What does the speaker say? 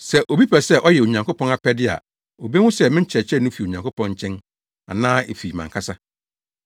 Sɛ obi pɛ sɛ ɔyɛ Onyankopɔn apɛde a obehu sɛ me nkyerɛkyerɛ no fi Onyankopɔn nkyɛn anaa efi mʼankasa.